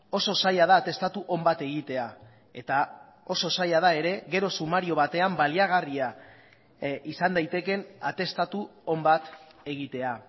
oso zaila da atestatu on bat egitea eta oso zaila da ere gero sumario batean baliagarria izan daitekeen atestatu on bat egitea